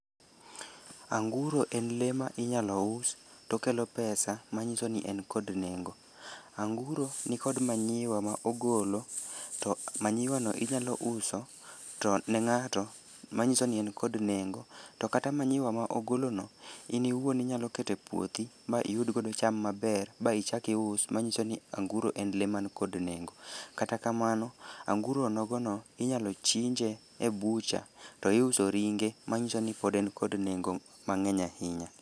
Anguro en le ma inyalo us tokelo pesa manyiso ni en kod nengo. Anguro nikod manyiwa ma ogolo, to manyiwa no inyalo uso to ne ng'ato, manyiso ni en kod nengo. To kata manyiwa ma ogolo no, in iwuon inyalo kete puothi ma iyud godo cham maber. Ba ichak ius manyiso ni anguro en le man kod nengo. Kata kamano, anguro nogo no inyalo chinje e bucha, to iuso ringe. Ma nyiso ni pod en kod nengo mang'eny ahinya.